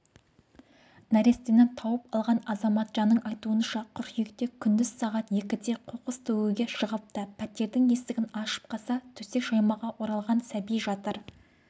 нәрестені тауып алған азаматшаның айтуынша қыркүйекте күндіз сағат екіде қоқыс төгуге шығыпты пәтердің есігін ашып қалса төсек жаймаға оралған сәби жатыр